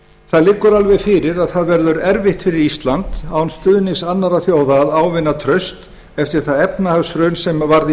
það liggur alveg fyrir að að verður erfitt fyrir ísland án stuðnings annarra þjóða að ávinna traust eftir það efnahagshrun sem varð í